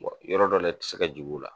yɔrɔ dɔ la i tɛ se ka jigi o la.